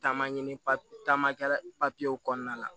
Taama ɲini taama kɛ papiyew kɔnɔna la